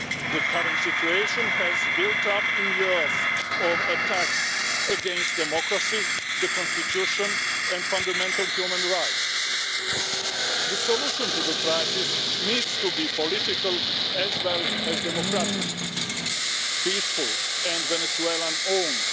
The current situation has built up over years of attacks against democracy, the constitution and fundamental human rights. The solution to the crisis needs to be political as well as democratic, peaceful and Venezuelan owned.